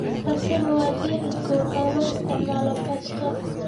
Basil waa dhir udgoon oo loo isticmaalo pesto.